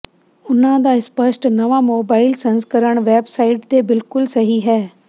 ਉਨ੍ਹਾਂ ਦਾ ਸਪੱਸ਼ਟ ਨਵਾਂ ਮੋਬਾਈਲ ਸੰਸਕਰਣ ਵੈਬਸਾਈਟ ਦੇ ਬਿਲਕੁਲ ਸਹੀ ਹੈ